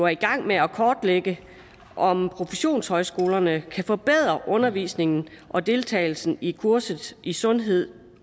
i gang med at kortlægge om professionshøjskolerne kan forbedre undervisningen og deltagelsen i kurset i sundhed